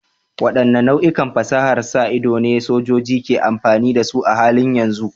Waɗanne nau'ikan fasahar sa ido ne sojoji ke amfani da su a halin yanzu?